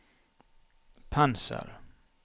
pensel